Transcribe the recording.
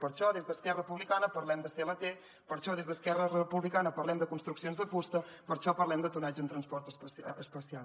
per això des d’esquerra republicana parlem de clt per això des d’esquerra republicana parlem de construccions de fusta per això parlem de tonatge en transport especial